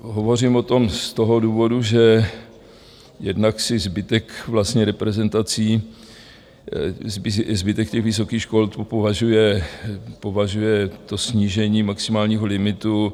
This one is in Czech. Hovořím o tom z toho důvodu, že jednak zbytek reprezentací, zbytek těch vysokých škol považuje to snížení maximálního limitu